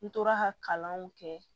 N tora ka kalanw kɛ